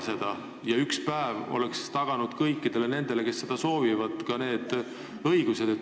See üks päev oleks taganud kõikidele nendele, kes soovivad kodus hääletada, ka selle õiguse.